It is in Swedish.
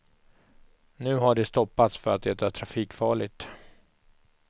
Nu har det stoppats för att det är trafikfarligt.